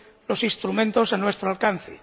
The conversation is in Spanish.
los instrumentos a nuestro alcance.